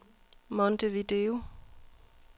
Montevideo